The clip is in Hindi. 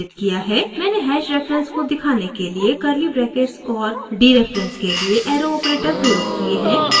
मैंने हैश रेफरेन्स को दिखाने के लिए कर्ली ब्रैकेट्स और डीरेफरेन्स के लिए एरो ऑपरेटर प्रयोग किये हैं